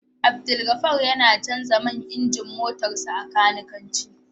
Abdulgafar yana Canja man injin motarsa ​​a kanikanci